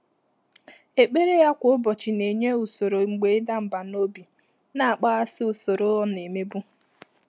Ékpèré yá kwá ụ́bọ̀chị̀ nà-ényé ùsòrò mgbè ị́dà mbà n’óbí nà-ákpàghàsị́ ùsòrò ọ́ nà-émébú.